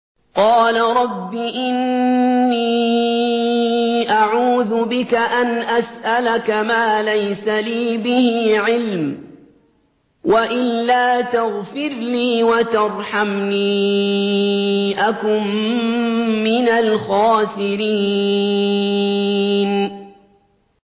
قَالَ رَبِّ إِنِّي أَعُوذُ بِكَ أَنْ أَسْأَلَكَ مَا لَيْسَ لِي بِهِ عِلْمٌ ۖ وَإِلَّا تَغْفِرْ لِي وَتَرْحَمْنِي أَكُن مِّنَ الْخَاسِرِينَ